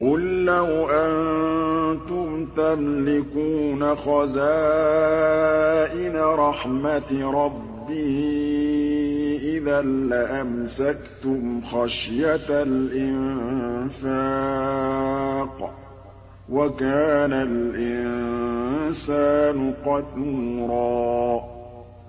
قُل لَّوْ أَنتُمْ تَمْلِكُونَ خَزَائِنَ رَحْمَةِ رَبِّي إِذًا لَّأَمْسَكْتُمْ خَشْيَةَ الْإِنفَاقِ ۚ وَكَانَ الْإِنسَانُ قَتُورًا